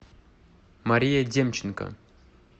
мария демченко